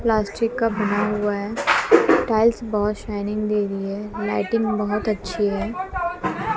Plastic का बना हुआ है टाइल्स बहोत शाइनिंग दे रही है लाइटिंग बहोत अच्छी है।